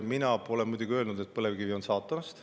Mina pole öelnud, et põlevkivi on saatanast.